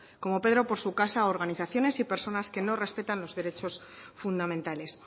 como pedro por su casa organizaciones y personas que no respetan los derechos fundamentales